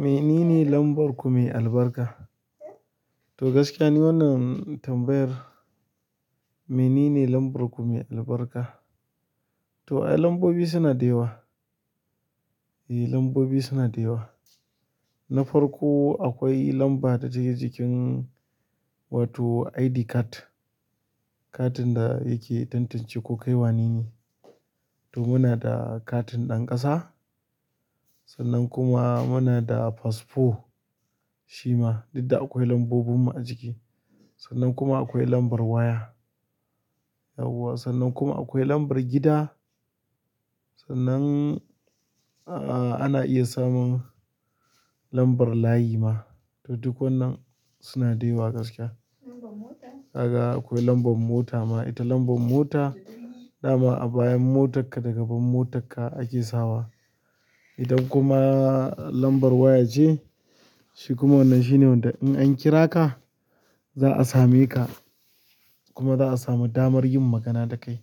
Menene lambar ku mai albarka? To gaskiya ni wannan tambayar. Menene lambar ku mai albarka? To ayy lambobi suna da yawa. Eyy lambobi suna da yawa. Na farko akwai lamba da take jikin wato ID card, katin da yake tantance ko kai wanene. To muna da katin ɗan ƙasa sannan kuma muna da fasfo shima, duk da akwai lambobinmu a jiki. Sannan kuma akwai lambar waya. Yauwa sannan kuma akwai lambar gida. Sannan, a ana iya samun lambar layi ma. To duk wannan suna da yawa gaskiya. Kaga akwai lambar mota ma. Ita lambar mota, dama a bayan motarka da gaban motarka ake sawa. Idan kuma lambar waya ce, shi kuma wannan shine wanda in an kira ka za a same ka kuma za a samu damar yin magana da kai.